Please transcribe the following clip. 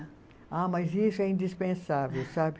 Ah, mas isso é indispensável, sabe?